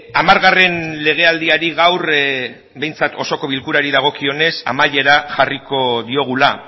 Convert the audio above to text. hamargarren legealdiari gaur behintzat osoko bilkurari dagokionez amaiera jarriko diogula